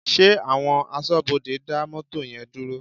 Ṣé àwọn aṣọ́bodè dá mọ́tò yẹn dúró?